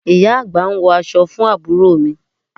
Ìyá àgbà ń wọ aṣọ fún àbúrò mi